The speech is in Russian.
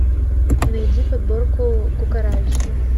найди подборку кукарача